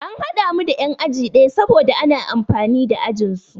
An haɗa mu da yan'aji ɗaya saboda ana amfani da ajinsu.